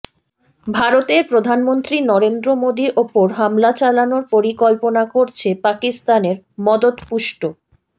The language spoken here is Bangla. ভারতের প্রধানমন্ত্রী নরেন্দ্র মোদি ওপর হামলা চালানোর পরিকল্পনা করছে পাকিস্তানের মদতপুষ্ট